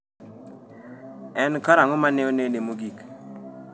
En karang’o ma ne onene mogik?